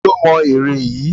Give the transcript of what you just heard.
ta lo mó ere Yi?